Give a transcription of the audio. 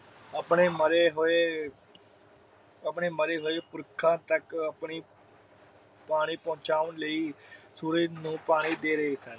ਆਪਣੇ ਮਰੇ ਹੋਏ ਆਪਣੇ ਮਰੇ ਹੋਏ ਪੁਰਖਾ ਤਕ ਆਪਣੀ ਪਾਣੀ ਪਹਿਚਾਣ ਲਾਇ ਸੂਰਜ ਨੂੰ ਪਾਣੀ ਦੇ ਰਹੇ ਸਨ।